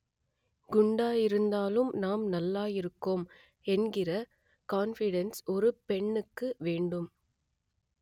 குண்டாயிருந்தாலும் நாம் நல்லாயிருக்கோம் என்கிற கான்ஃபிடென்ஸ் ஒரு பெண்ணுக்கு வேண்டும்